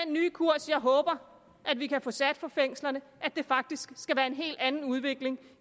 nye kurs jeg håber vi kan få sat for fængslerne at det faktisk skal være en helt anden udvikling